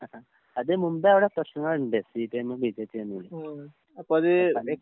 അ അഹ്. അത് മുമ്പേ അവടെ പ്രശ്നങ്ങള്ണ്ട് സിപിഎമ്മും ബിജെപിയും തമ്മിൽ.